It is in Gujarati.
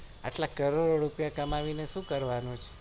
અચ્છા કરોડ રૂપિયા કમાવી ને શું કરવાનું